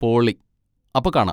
പൊളി, അപ്പോ കാണാ.